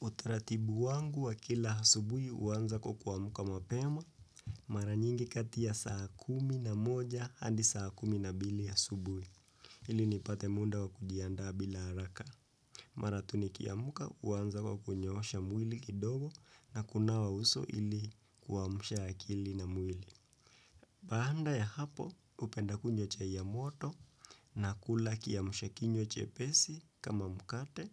Utaratibu wangu wa kila asubuhi huanza kwa kuamka mapema mara nyingi kati ya saa kumi na moja hadi saa kumi na mbili asubuhi. Ili nipate muda wa kujiandaa bila haraka. Mara tu nikiamka huanza kwa kunyoosha mwili kidogo na kunawa uso ili kuamsha akili na mwili. Baada ya hapo hupenda kunywa chai ya moto na kula kiamsha kinywa chepesi kama mkate